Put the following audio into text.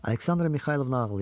Aleksandra Mixaylovna ağlayırdı.